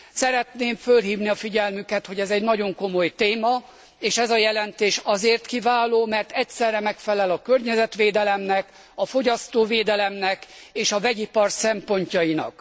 Szeretném fölhívni a figyelmüket, hogy ez egy nagyon komoly téma, és ez a jelentés azért kiváló, mert egyszerre megfelel a környezetvédelemnek, a fogyasztóvédelemnek és a vegyipar szempontjainak.